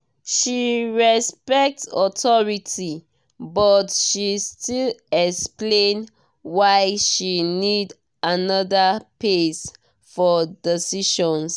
she respect authority but she still explain why she need another pace for decisions.